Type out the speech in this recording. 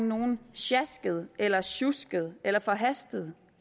nogen sjasket eller sjusket eller forhastet